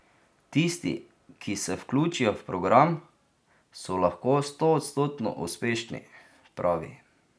Tisti, ki se vključijo v program, so lahko stoodstotno uspešni, pravi.